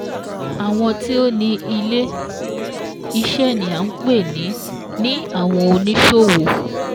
Àwọn tí ó ni ilé-iṣẹ́ ni à ń pè ní ní àwon oníṣòwò